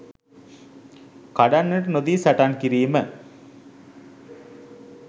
කඩන්නට නොදී සටන් කිරීම.